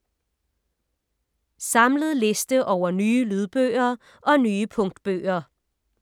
Samlet liste over nye lydbøger og nye punktbøger